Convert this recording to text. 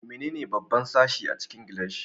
Menene babban sashi a cikin gilashi?